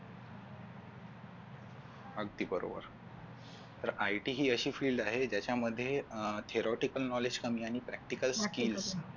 अगदी बरोबर तर IT ही अशी field आहे की ज्याच्या मध्ये अह theoretical knowledge कमी आणि practical